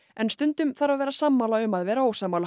en stundum þarf að vera sammála um að vera ósammála